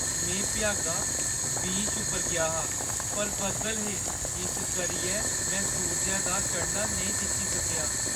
में भ्यागा बीच पर गेआ हा, पर बद्दल हे इस करियै में सूरजै दा चढ़ना नेईं दिक्खी सकेआ।